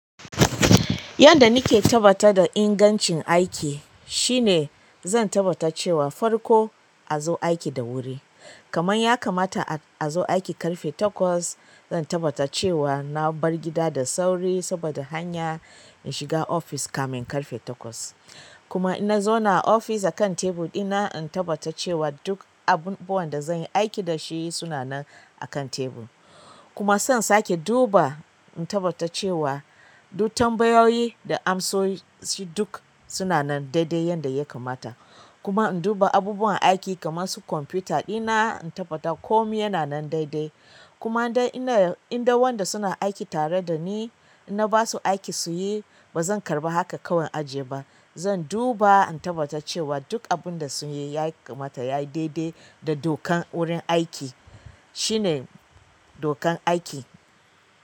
Yanda nake tabbata da ingancin aiki shine zan tabbata cewa farko a zo aiki da wuri. Kamanya kamata a zo aiki ƙarfe takwas, zan tabbata cewa na bar gida da sauri saboda hanya in shiga ofis kamin ƙarfe takwas. Kuma in na zauna a ofis a kan tebur ɗina, in tabbata cewa duk abubuwan da zan yi aiki dashi suna nan a kan tebur. Kuma zan saƙe duba in tabbata cewa duk tambayoyi da amsoshi duk suna nan daidai yanda ya kamata. Kuma in duba abubuwan aiki kaman su kwamfuta ɗina, in tabbata komi yana nan daidai. Kuma indai wanda suna aiki tare da ni, in na ba su aiki su yi ba zan karɓa haka kawai in ajiye ba. Zan duba in tabbata cewa duk abun da sun yi ya kamata ya yi daidai da dokan wurin aiki. Shine dokan aiki.